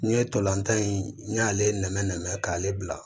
N'i ye tolantan in n y'ale nɛmɛ nɛmɛ k'ale bila